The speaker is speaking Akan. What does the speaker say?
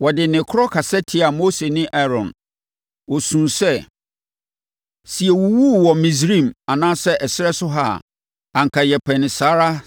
Wɔde nne korɔ kasa tiaa Mose ne Aaron. Wɔsuu sɛ, “Sɛ yɛwuwuu wɔ Misraim anaa ɛserɛ so ha a, anka yɛpɛ no saa ara